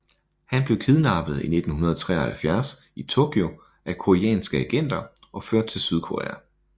Han blev kidnappet i 1973 i Tokyo af koreanske agenter og ført til Sydkorea